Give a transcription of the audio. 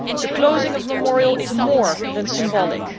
The closing of Memorial is more than symbolic.